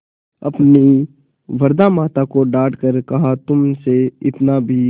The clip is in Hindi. अपनी वृद्धा माता को डॉँट कर कहातुमसे इतना भी